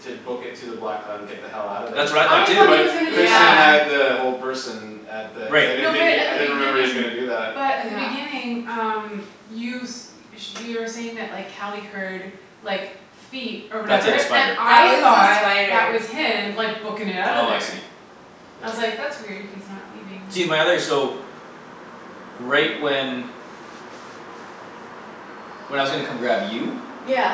To book it to the black and get the hell outta there That's Oh what I thought I too too. thought he was gonna But do Christian Yeah that. had the whole person At the I Right. didn't No but think he at I the didn't he was beginning gonna do that. but But at the yeah beginning um You s- sh- you were saying that like Cali heard like feet Or That the whatever, and spider. That I was a thought spider. that was him like bookin' it outta Oh I see. there. I was Yeah like, "That's weird, he's not leaving." See my other so Right when When I was gonna come grab you Yeah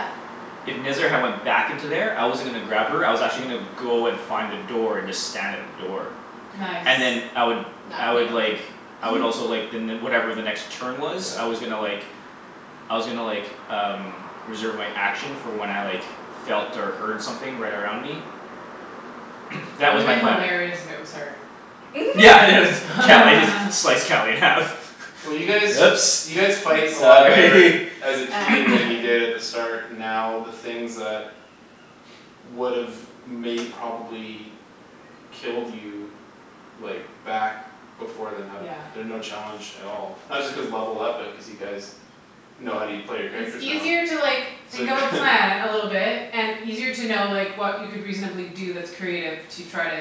If Nezzar had went back into there I wasn't gonna grab her I was actually gonna Go and find a door and just stand at the door. Nice And then I would I Knock would like me over. I would also like the ne- whatever the next turn was Yeah I was gonna like I was gonnna like um Reserve my action for when I like felt or heard something right Right around me. That That was would've my plan. hilarious if it was her. Yeah it was Cali just slice Cali in half. Well you Oops guys you guys fight a lot sorry better As a team than you did at the start And now the things that Would've may probably Killed you Like back before then have Yeah. been no challenge at all. Not just cause levelled up but cuz you guys Know how u- play your It's characters now easier to like So think of a plan a little bit And easier to know like what you could reasonably do that's creative to try to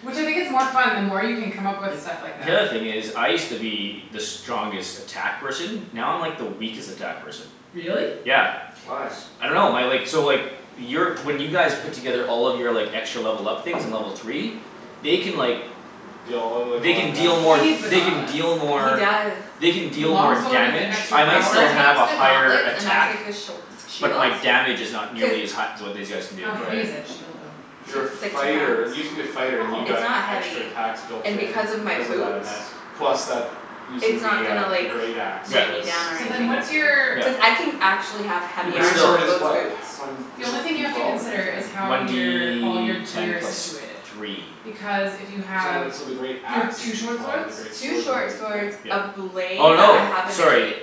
Which I think it's more fun the more you can come up with stuff like The that. other thing is I used to be the strongest attack person Now I'm like the weakest attack person. Really? Yeah. Why? I dunno my like so like Your when you guys Put together all of your like extra level up things in level three They can like Deal all like a They lot of can deal He more needs damage. the they can gauntlets. deal He more does. They can With the deal long more sword with the damage extra If I he might takes power the still have a higher gauntlets and I attack take the sh- the shield But my damage is not nearly as Cuz hi- as what these guys can do. How heavy is that Right shield though? It's Your it's like two fighter pounds you used to be a fighter and you Oh It's not got extra heavy. attacks Built And in because of my because of that boots and that plus that Using It's not the gonna uh the like great axe Was Yeah. weigh me was down or So a then anything. big what's your Yeah. thing. Cuz I can actually have Your heavy But great armor still swords with is those what? boots. One The is only it thing you D have to twelve or D consider is ten? how One your all your D ten gear is plus situated. three. Because if you So have when so the great you have axe two is D short twelve but swords the great Two sword is only short D swords, ten Yeah. a blade Oh that no, I have in the sorry. cape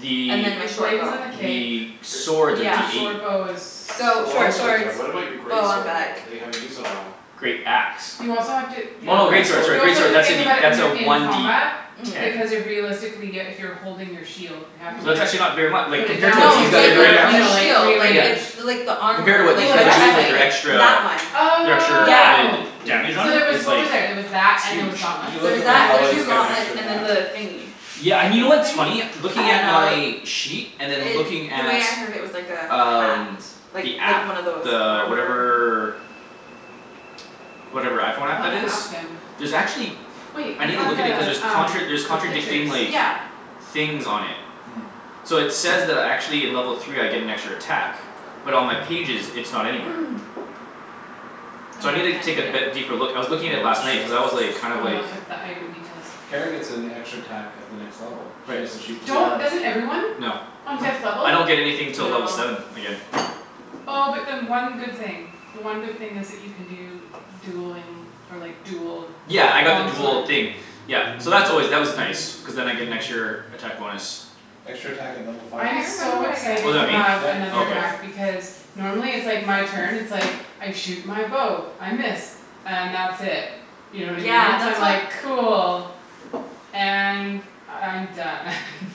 The And then my The short blade bow. is in the cape. the Gr- swords are D Yeah The eight. short bow is The So long short swords are, swords, but what about your bow great on sword back. though? That you haven't used in a while? Great axe. You also have to You yeah have a Oh great okay. great sword sorry sword. You also great have sword to that's a think D about it when that's a you're in one D combat ten. Mhm. Because you're realistically uh if you're holding your shield You have Hmm to It's not like actually not very mu- like put it compared to down what Well No to the these use it's guys g- the the are like great doing other or now. you axe a know is like shield like Yeah. rearrange. it's bigger. The like the Compared to armor what Oh these like the the guys are doing like breastplate they're chestplate extra That one. The extra Yeah. Oh added Yeah. Damage on So it there was it's what was like there? There was that and there was Huge. Did gauntlets, you There look was at when and that there the was paladins two get an gauntlets extra and then attack? the thingy Yeah A and you know what what's thing? funny? I Looking don't at know my Sheet and then looking It the at way I heard it was like a hat. Um Like the like app one of those the armor whatever Whatever iPhone I app wanna that is? ask him There's actually Wait I I needa have look at the it cuz there's um contra- there's the pictures. contradicting like Yeah Things on it. Hmm So it says that I actually in level three I get an extra attack. But on my pages it's not anywhere. So No I no needa I take can't be- yeah. deeper look. I was looking at it last night cuz I was like kind I of wanna like look at the item details. Kara gets an extra attack at the next level. She Right. gets to shoot two Don't arrows. doesn't everyone? No. On fifth level? I don't get anything till No level seven again. Oh but then one good thing. The one good thing is that you can do dueling or like dual Yeah I got the long sword dual thing Yeah so that's always that was nice. Cuz then I get an extra attack bonus. Extra attack at level I five. I'm remember so what I get Oh excited is to that me? have Yep Oh another okay. attack For because Normally it's like my turn it's like I shoot my bow, I miss. And that's it. You know what I Yeah mean? So I'm that's what like cool. And I'm done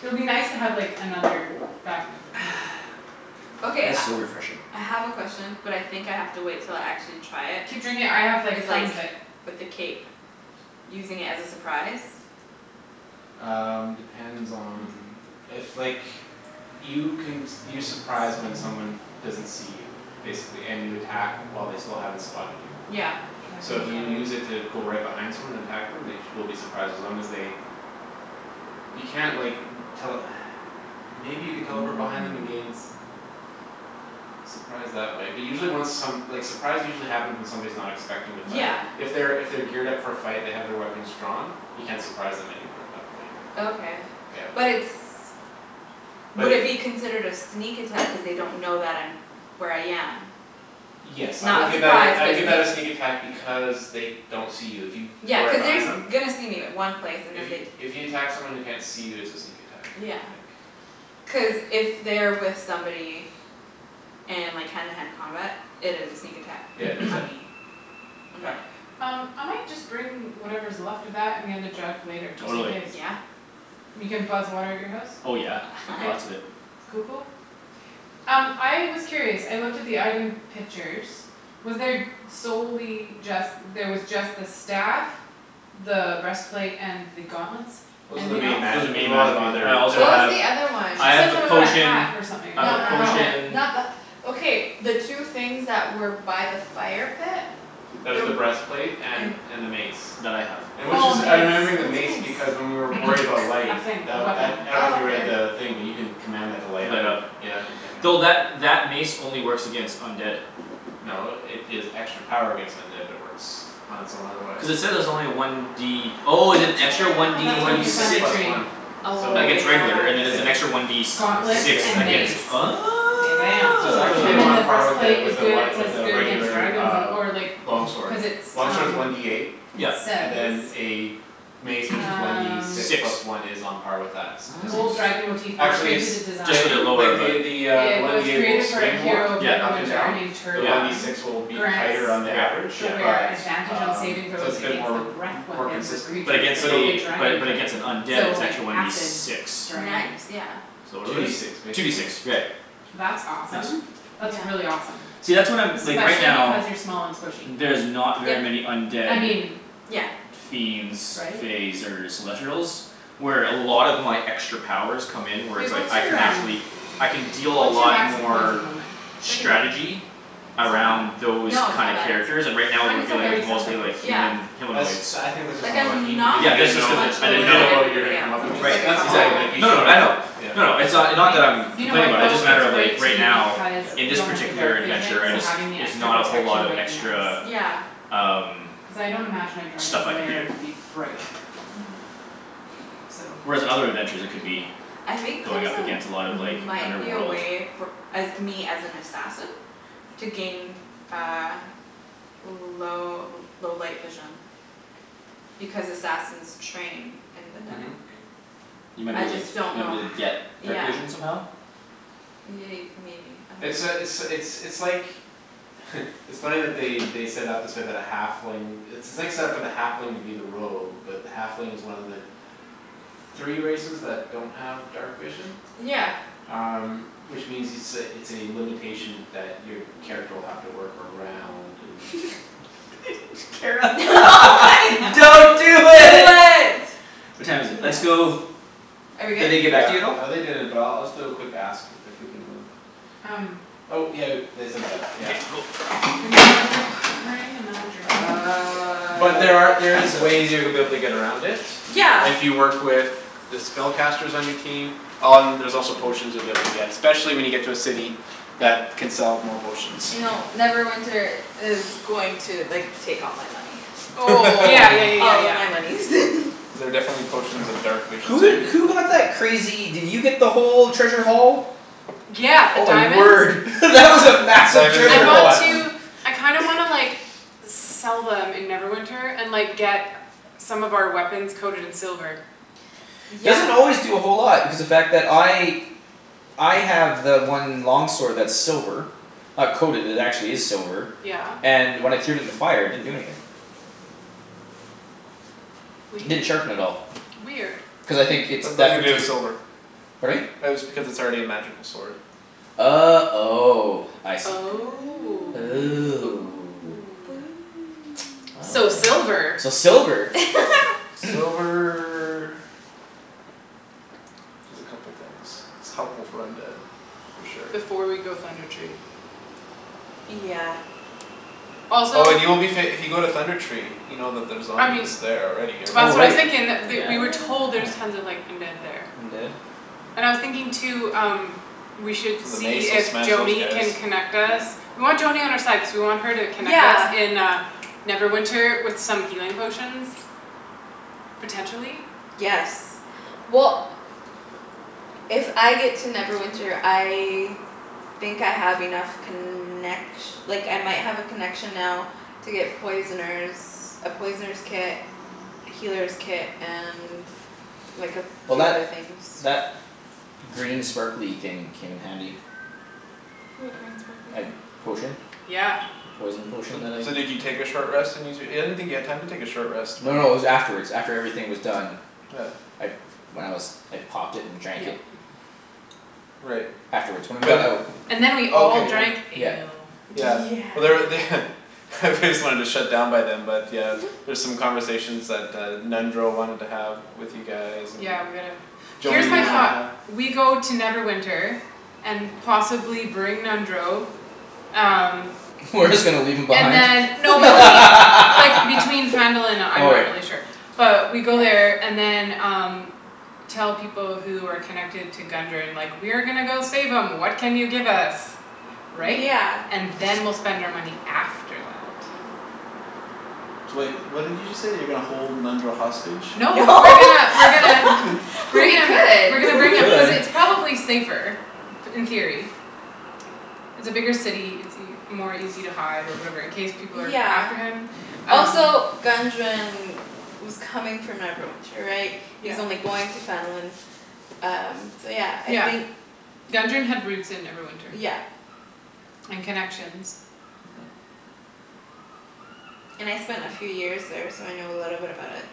It'll be nice to have like another back up you know Okay That is I so refreshing. I have a question but I think I have to wait until I actually try it Keep drinking I have Is like like tons of it. with the cape Using it as a surprise? Um depends on if like You can s- you surprise when someone Small doesn't see you Basically, and you attack while they still haven't spotted you. Yeah So Dragon if you guard use it to go right behind someone and attack them they sh- will be surprised as long as they You can't like tell Maybe you could teleport behind them and gain s- Surprise that way but usually when some like surprise usually happens when someone's not expecting to fight. Yeah If they're if they're geared up for a fight they have their weapons drawn You can't surprise them anymore at that point. Okay Yeah but it's But would if it be considered a sneak attack cuz they don't know that I'm where I am It's Yes I not would a give that surprise a I would but give that a a sneak sneak attack because They don't see you if you Yeah go right cuz they're behind s- them. gonna see me in one place and then they If you if you attack someone who can't see you it's a sneak attack I Yeah think. cuz if they're with somebody And like hand to hand combat it is a sneak attack Yeah just on that me. On my Yep Um I might just bring whatever's left of that and the other jug later, just in Totally. case. Yeah And you can buzz water at your house? Oh yeah, Okay. lots of it. Cool cool. Um I was curious, I looked at the item pictures Was there solely just there was just the staff The breastplate and the gauntlets? Those are the Anything else? main magi- Those as are main we'll magic have other I there's What also was have the the other one? She I have said the something about a potion hat or something. I No have a A no no helmet potion not the okay the two things that were by the fire pit? That was There the breastplate and and and the mace. That I have. And which Oh a is I'm mace. remembering the What's mace a because mace? when we were worried about light A thing, a The weapon. that I dunno if Oh you read okay the thing but you can Command that to light up Light and you up. c- yeah you turn it Though that on. that mace only works against undead. No it gives extra power against undead but it works on its own otherwise. Cuz it says it's only one D Oh is it extra one Damn D It's a that's one worth D for six? six Thunder plus Tree. one. Oh So Against regular and then there's an yeah. extra one yes D And s- Gauntlets sixty six and percent against mace. Oh Bam bam So it's actually And then on the part with breastplace is a good, it one says with a good against regular dragons uh or like Long Cuz it's sword. Long sword's um one D eight It Yep and says then a Mace which is one D Um six Six. plus one is on par with that, Gold statistically. Nice. dragon motive Actually it's into the design. Just a t- bit lower like but. the The uh the It one was D eight will created for a swing more hero of Yep up and Neverwinter named down The one D yep Tergon. six will be Grants tighter on the average. the Yeah yeah. wearer But Advantage on saving um so throws it's a bit against the more breath More Weapons of consistent but But creatures against of the a the dragon but type. against an undead So it's like actually one D acid six. dragons. Nice yeah So what Two are D these? six Two D six. basically, Right. yeah. That's It's Tense. awesome. That's Yeah really awesome. See that's what I'm like right Especially now because you're small and squishy. There's not very Yep many undead I mean yeah fiends right? Faes or celestrials Where a lot of my extra powers come in where it's Wait like what's I can your um actually I can deal a What's your lot max hit points at more the moment? Thirty nine Strategy That's not Around bad those No it's kind of not bad characters it's and right I now mean we're Mine's still it's dealing with thirty not bad something. mostly it's like okay yeah Human That's humanoids. I think that's just Like I'm unlucky because not you Yeah didn't that's just know cuz it much I lower You didn't didn't than know know what you were everybody gonna else. come up It's just Right against. like And a that's couple fine exactly. like you No no no shouldn't I know. have. Yeah. A No couple no, it's points. uh not that I'm You know Complaining what about it, though? just a It's matter of like great right too now because Yeah. In you this don't have the particular dark vision, adventure, I so just having the Is extra not a whole lot protection of might be extra nice. Yeah Um Cuz I don't imagine a dragon's Stuff I can lair to be do bright. Mhm So Whereas in other adventures I could Yeah be I think going there's up a against a lot of like might be a underworld. way for uh me as an assassin To gain uh L- low low light vision Because assassins train in the Mhm dark. You might be I able to like just don't might know be able to h- get yeah dark vision somehow? Ye- maybe I It's uh it's dunno it's it's like It's funny that they they set it up this way but a halfling It's it's like set up for the halfling to be the rogue but the halfling is one of the Three races that don't have dark vision. Yeah Um which means it's a it's a limitation that your Character will have to work around and Kara Don't do it. What time is it? Let's Yes Yes go Are we Did good? they get back to you at Yeah all? uh they didn't but I'll just do a quick ask. If we can move. Um Oh yeah they said that Okay yeah cool Bringing my drink. Bringing my drink. Uh I'm But like there are there is passed out. ways to be able to get around it. Yeah If you work with The spellcasters on your team Um there's also potions you'll be able to get Specially when you get to a city. I That can sell more potions. I know Neverwinter is going to like take all my money. Oh Yeah yeah yeah yeah All of yeah. my monies Cuz there are definitely potions of dark vision Who so you did who got that crazy did you get the whole treasure haul? Yeah, the Oh my diamonds word that was a massive Diamonds I and treasure the haul. want to platinum. I kinda wanna like Sell them in Neverwinter and like get Some of our weapons coated in silver. Yeah Doesn't always do a whole lot because the fact that I I have the one long sword that's silver. Not coated, it actually is silver. Yeah. And when I threw it in the fire it didn't do anything. Didn't Weird. sharpen at all. Weird. Cuz I think it's That's deft nothing or to do with silver. Pardon me? That is because it's already a magical sword. Oh oh I see. Oh Oh oh. So Well then. silver. So silver. Silver Does a couple things. It's helpful for undead for sure. Before we go Thunder Tree. Yeah Also Oh and you will be fa- if you go to Thunder Tree You know that there's I mean zombies there already or Oh That's what I was right, yeah. thinking that th- we were told there's tons of like undead there. Undead? And I was thinking too um We should So the see mace will if smash those Joany guys. can connect us Yep. We want Joany on our side cuz we want her to connect us Yeah in uh Neverwinter with some healing potions. Potentially. Yes well If I get to Neverwinter I Think I have enough connec- Like I might have a connection now To get poisoner's A poisoner's kit Well that Healer's kit and like a few that other things. green sparkly thing came in handy. What green sparkly Uh thing? potion. Yeah The poison potion So that I so did you take a short rest and use your I didn't think you had time to take a short rest No when no it was afterwards. After everything was done. Yeah I when I was I popped it and drank Yep it. Right. Afterwards when we got But out And then we did all drank okay yeah. Yeah. ale. Yeah Yeah but there're they They just wanted to shut down by them but yeah There's some conversations that uh Nundro wanted to have with you guys and Yeah we gotta here's Joany my wanted to thought. have. Yeah We go to Neverwinter. And possibly bring Nundro Um We're just gonna leave him And behind? then no but he like between Phandalin and uh I'm Oh not right. really sure But we go Yeah there and then um Tell people who are connected to Gundren like, "We are gonna go save 'em, what can you give us?" Right? Yeah And then we'll spend our money after that. So wait, what did you just say? You're gonna hold Nundro hostage? No No we're gonna we're gonna Bring We him we're gonna We could bring him cuz could. it's probably safer in theory It's a bigger city. It's ea- more easy to hide or whatever in case people are Yeah after him um Also Gundren was coming from Neverwinter right? He Yeah was only going to Phandalin Um so yeah I Yeah. think Gundren had roots in Neverwinter. Yeah And connections. Mhm And I spent a few years there so I know a little bit about it.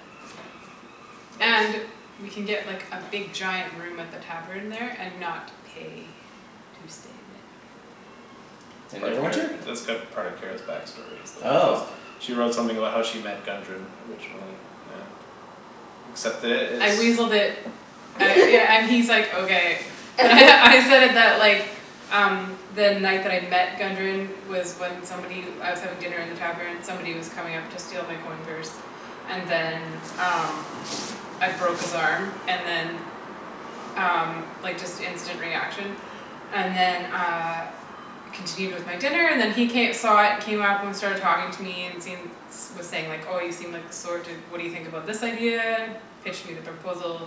And Nice we can get like a big giant room at the tavern there and not pay to stay It's In part of Kara's Neverwinter? it's cu- there part of Kara's back story is the Oh host She wrote something about how she met Gundren originally, and Accept it, I it's weaseled it I yeah and he's like, "Okay." And I said that like Um the night that I met Gundren Was when somebody I was having dinner in the tavern, somebody was coming up to steal my coin purse. And then um I broke his arm and then Um like just instant reaction And then uh Continued with my dinner and then he ca- saw it came up started talking to me and seen Was saying like, "Oh you seem like the sort to what do you think about this idea?" Pitched me the proposal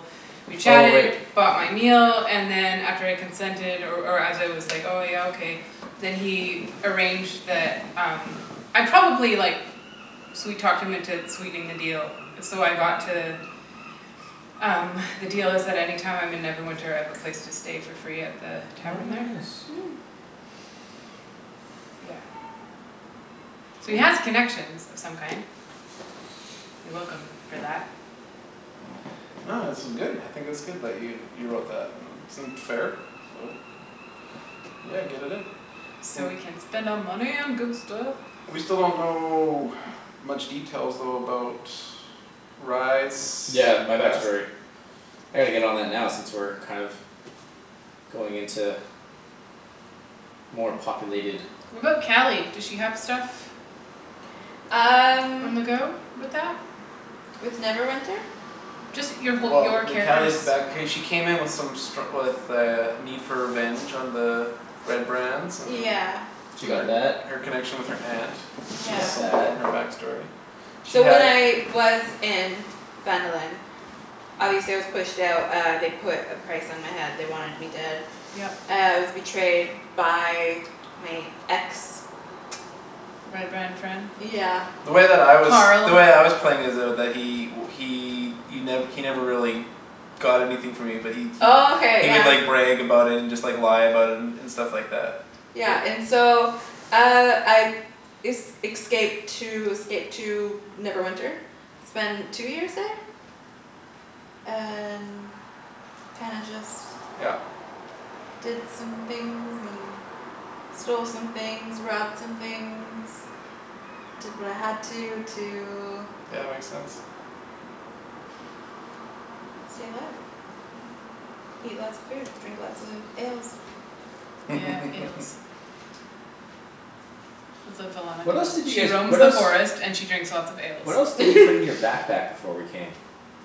We Oh chatted, right. bought my meal, and then And after I consented or or as I was Like, "Oh yeah okay", then he Arranged the um I probably like Sweet talked him into sweetening the deal, so I got to Um the deal is that any time I'm in Neverwinter I have a place to stay for free at the Oh tavern there nice. Yeah So we Cool have connections of some kind. You're welcome for that. No this is good. I think it's good that you you wrote that. It seemed fair, so. Yeah get it in. So we W- can spend our money on good stuff. We still don't know much details though about Rye's Yeah my past. backstory. I gotta get on that now since we're kind of Going into More populated. What about Cali? Does she have stuff? Um On the go with that? With Neverwinter? Just your whole your Well the character's Cali's back hey she came in with some stru- With a need for revenge on the Red Brands and Yeah She got that. Her her connection with her aunt. She Is got Yeah something that. from her back story. She So when had I was in Phandalin Obviously I was pushed out uh they put a price on my head they wanted me dead. Yep Uh I was betrayed by my ex Red Brand friend? Yeah The way that I was the Carl way I was playing is though that he he y- he never really Got anything from me but he he Okay He would yeah like brag about it and just lie about it and And stuff like that Yeah but and so uh I Es- excaped to escaped to Neverwinter Spend two years there And kinda just Yeah Did some things and stole some things, robbed some things. Did what I had to to Yeah makes sense. Stay alive Eat lots of food drink lots of ales Yeah, ales It's what Velana What else does. did you She guys roams what the else forest and she drinks lots of ales. What else did you put in your backpack before we came?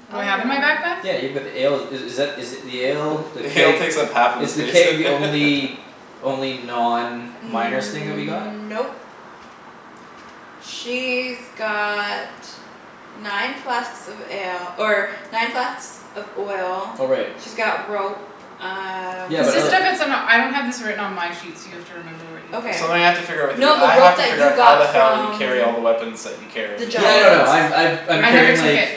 What A do I have in my lot backpack? Yeah you put the ale i- is that is it the ale The The ale keg takes up half of the is the space keg the only Only non miner's thing that we got? Nope She's got nine flasks of ale or nine flasks of oil Oh right. She's got rope um Yeah Is but this the other stuff that's in a I don't have this written on my sheet so you have to remember what you put Okay in. Something I have to figure out with you. No the I have rope to that figure you out how the got hell you from carry all the weapons that you the carry. A Yeah giant no no limit. I'm I've I'm I never carrying remember? took like it.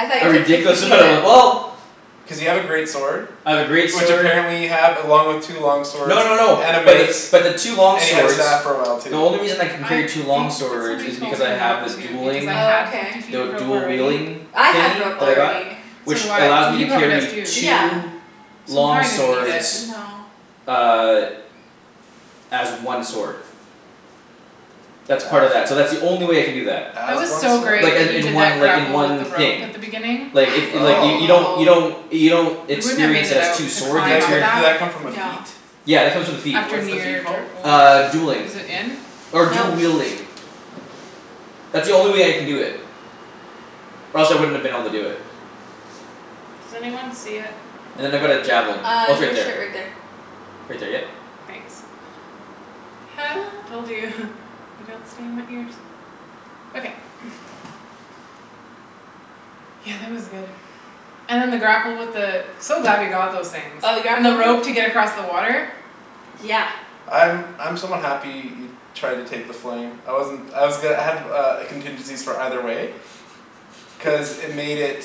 I thought A you took ridiculous fifty feet amount of of w- it? well Cuz you have a great sword. I have a great Which sword apparently you have along with two long swords No no no and a but the mace. but the two long And you had a swords staff for a while The too. only reason I can I carry two long think that swords somebody is told because me I not have a to because dueling I had Okay fifty The feet of w- rope dual already wielding I had thingy rope that I got Yeah. already So Which do I. allows me He to he probably does carry too. Yeah two So we Long probably Oh didn't need it. s- swords no Uh As one sword. That's part of that. So that's the only way I can do that. That As was one so sword? great Like uh that you in did one that like in grapple with the one rope thing. at the beginning Like it it like y- Oh you don't you I know don't You don't We wouldn't have made experience it it as out two to Did swords, you that climb c- up experience did that that. come from a feat? No Yeah it comes with the feat. After What's the near feat dr- called? oh. Uh dueling. Is it in? Or dual Nope wielding. That's the only way I can do it. Or else I wouldn't have been able to do it. Does anyone see it? And then I've got a javelin. Uh Oh it's on right your there. shirt right there Right there yep Thanks Told you, they don't stay in my ears. Okay Yeah that was good. And then the grapple with the So glad we got those things. Oh we got And the rope to get across the water. Yeah I'm I'm somewhat happy he Tried to take the flame. I wasn't I was go- I had uh contingencies for either way Cuz it made it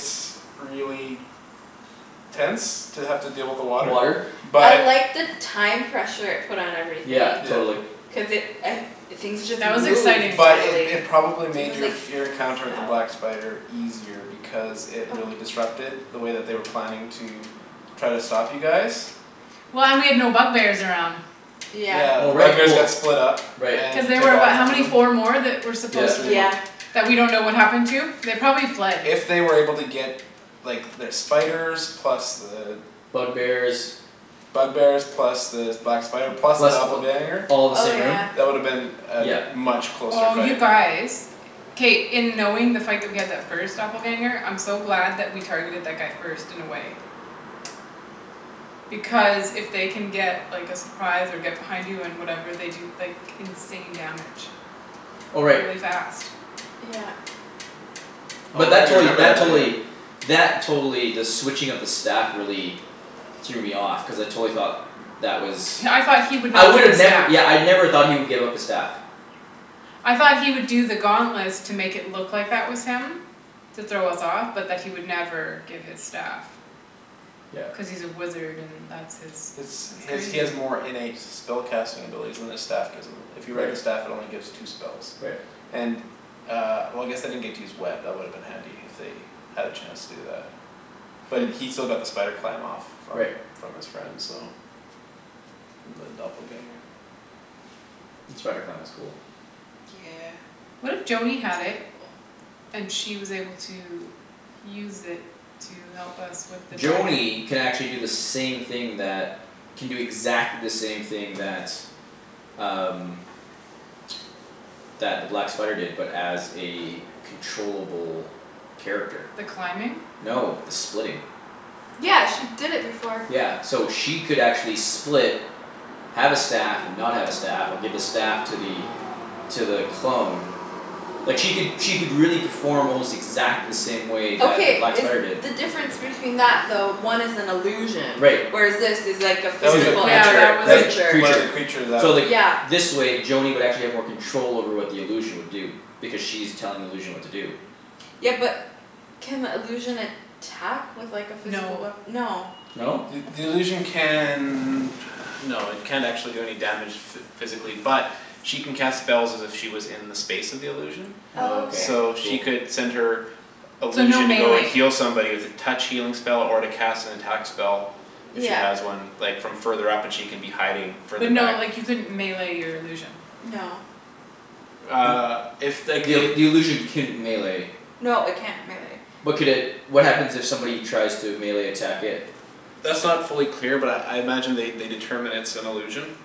really Tense to have to deal with the Water water I But liked the time pressure it put on everything. Yeah Yeah totally. Cuz it I things just That was moved exciting. But it finally it probably I made guess your like Your encounter with the felt black spider easier Because it really disrupted the way that they were planning to Try to stop you guys Well and we had no bug bears around. Yeah Yeah Oh the bug right bears well got split up right Cuz And you they took were out what how half of many? them Four more? That were Yeah supposed There's three to more. Yeah That we don't know what happened to? They probably fled. If they were able to get Like their spiders plus the Bug bears Bug bears plus the black spider plus the Plus th- doppelganger all the Oh same room yeah That woulda been Yep A much closer Oh you fight. guys. K, in knowing the fight that we had that first doppelganger I'm so glad that we targeted that guy first in a way. Because if they can get like a surprise and get behind you and whatever they can do like insane damage. Oh right. Really fast. Yeah But Oh that you totally remember that that don't totally you? That totally the switching of the staff really Threw me off cuz I totally thought That was Yeah I thought he would I not get a would've never staff. yeah I never thought he would give up the staff. I thought he would do the gauntlets to make it look that was him To throw us off but that he would never give his staff. Yeah Cuz he's a wizard and that's his. It's That's he has he crazy. has more innate Spell casting abilities than his staff. Gives him. If you read the Right staff it only gives two spells. Right And uh well I guess they didn't get to use web, that woulda been handy if they Had a chance to do that. But he still got the spider climb off. From Right from his friend so From the doppelganger. The spider clam was cool. Yeah What It's if pretty Joany had it cool. And she was able to use it to help us with the dragon? Joany can actually do the same thing that Can do exactly the same thing that um That the black spider did but as a Controllable character. The climbing? No the splitting. Yeah she did it before. Yeah so she could actually split Have a staff and not have a staff or give a staff to the To the clone Like she could she could really perform almost exactly the same way that the Okay black is spider did. the difference between that though one is an illusion Right. Whereas this is like a That was a physical Yeah other that creature. was a Right. that was creature. One of Creature the creatures that So like Yeah this way Joany would actually have more control over what the illusion would do. Because she's telling the illusion what to do. Yeah but can illusion attack with like a physical No wea- no No? The the illusion can No it can't actually do any damage. Physically but she can cast Spells as if she was in the space of the illusion Oh Okay So okay. she cool. could send her So no Illusion to go and melee heal somebody with a Touch healing spell or to cast an attack spell. If she Yeah has one like from further up and she can be hiding further But no back like you couldn't melee your illusion. No Uh if like The ill- it the illusion can melee No it can't melee. But could it what happens if somebody tries to melee attack it? That's not fully clear but I I imagine they determine it's an illusion